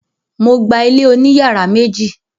Mo gba ilé oní yàrá méjì.